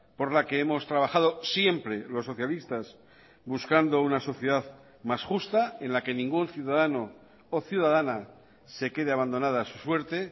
por la que hemos trabajado siempre los socialistas buscando una sociedad más justa en la que ningún ciudadano o ciudadana se quede abandonada a su suerte